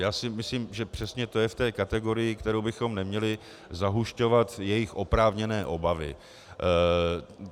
Já si myslím, že přesně to je v té kategorii, kterou bychom neměli zahušťovat jejich oprávněné obavy.